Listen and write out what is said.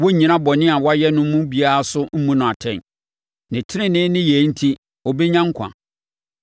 Wɔrennyina bɔne a wayɛ no mu biara so mmu no atɛn. Ne tenenee nneyɛɛ enti, ɔbɛnya nkwa.